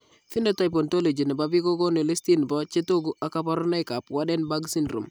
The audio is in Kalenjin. Phenotype ontology nebo biik kokoonu listini bo chetogu ak kaborunoik ab Waardenburg syndrome